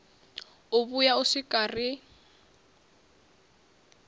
u vhuya u swika ri